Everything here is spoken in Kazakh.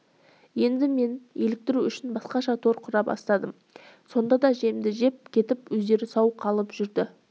енді мен еліктіру үшін басқаша тор құра бастадым сонда да жемді жеп кетіп өздері сау қалып жүрді